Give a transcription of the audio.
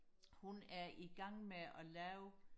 hun er i gang med og lave